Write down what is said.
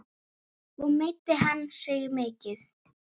Og meiddi hann sig mikið?